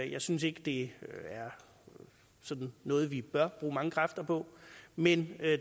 jeg synes ikke det er noget vi bør bruge mange kræfter på men